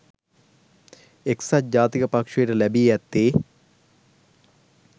එක්සත් ජාතික පක්ෂයට ලැබී ඇත්තේ